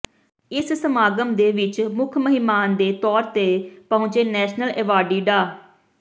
ਇਸ ਸਮਾਗਮ ਦੇ ਵਿੱਚ ਮੁੱਖ ਮਹਿਮਾਨ ਦੇ ਤੌਰ ਦੇ ਪਹੁੰਚੇ ਨੈਸ਼ਨਲ ਐਵਾਰਡੀ ਡਾ